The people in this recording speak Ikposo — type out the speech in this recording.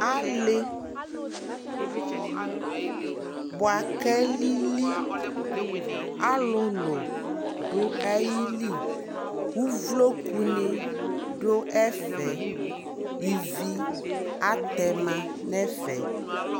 Ali bua ka liliAluluayi liUvloku ni du ɛfɛIvi atɛ ma nɛ fɛ